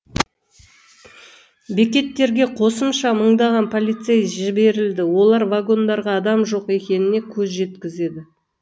бекеттерге қосымша мыңдаған полицей жіберіледі олар вагондарға адам жоқ екеніне көз жеткізеді